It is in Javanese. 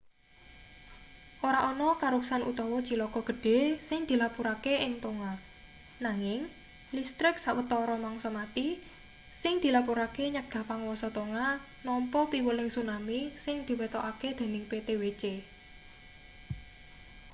ora ana karuksan utawa cilaka gedhe sing dilapurake ing tonga nanging listrik sawatara mangsa mati sing dilapurake nyegah panguwasa tonga nampa piweling tsunami sing diwetokake dening ptwc